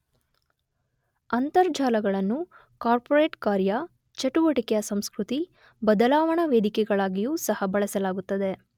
ಅಂತರ್ಜಾಲಗಳನ್ನು corporate ಕಾರ್ಯ, ಚಟುವಟಿಕೆಯ ಸಂಸ್ಕೃತಿ, ಬದಲಾವಣಾ ವೇದಿಕೆಗಳಾಗಿಯೂ ಸಹ ಬಳಸಲಾಗುತ್ತದೆ.